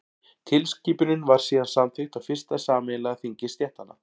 tilskipunin var síðan samþykkt á fyrsta sameiginlega þingi stéttanna